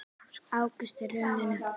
Ágúst er runninn upp.